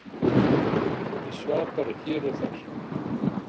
Ég svaf bara hér og þar.